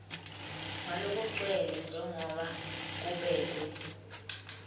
ngalokugcwele njengoba kubekwe